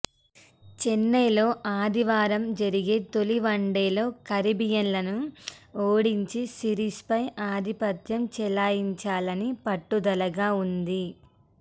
చెన్నైలో ఆదివారం జరిగే తొలి వన్డేలో కరీబియన్లను ఓడించి సిరీస్పై ఆధిపత్యం చెలాయించాలని పట్టుదలగా ఉంది